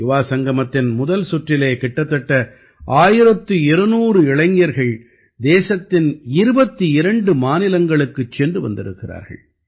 யுவாசங்கமத்தின் முதல் சுற்றிலே கிட்டத்தட்ட 1200 இளைஞர்கள் தேசத்தின் 22 மாநிலங்களுக்குச் சென்று வந்திருக்கிறார்கள்